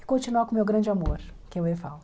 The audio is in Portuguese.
E continuar com o meu grande amor, que é o Evaldo.